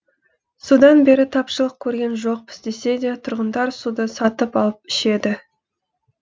содан бері тапшылық көрген жоқпыз десе де тұрғындар суды сатып алып ішеді